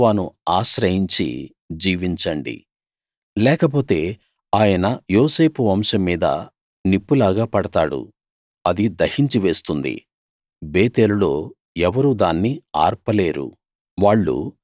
యెహోవాను ఆశ్రయించి జీవించండి లేకపోతే ఆయన యోసేపు వంశం మీద నిప్పులాగా పడతాడు అది దహించి వేస్తుంది బేతేలులో ఎవరూ దాన్ని ఆర్పలేరు